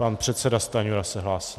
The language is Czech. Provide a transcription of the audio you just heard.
Pan předseda Stanjura se hlásí.